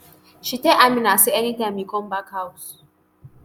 she tell amina say anytime you come back house